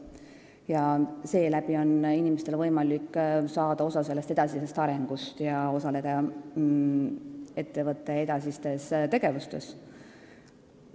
Inimestele avaneb võimalus saada osa ettevõtte edasisest arengust ja osaleda ettevõtte edasistes tegevustes.